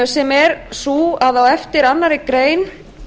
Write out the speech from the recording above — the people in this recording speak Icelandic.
sem er sú að á eftir annarri grein